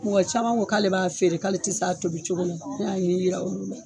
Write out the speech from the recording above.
Caman ko k'ale b'a feere k'ale tɛ s'a tobi cogo la, n y'a ɲɛ yira olu la.